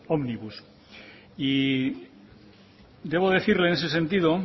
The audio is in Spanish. ómnibus y debo decirle en ese sentido